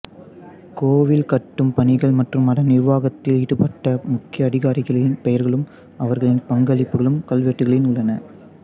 கோவில் கட்டும் பணிகள் மற்றும் அதன் நிர்வாகத்தில் ஈடுபட்ட முக்கிய அதிகாரிகளின் பெயர்களும் அவர்களின் பங்களிப்புகளும் கல்வெட்டுகளில் உள்ளன